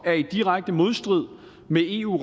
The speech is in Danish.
er i direkte modstrid med eu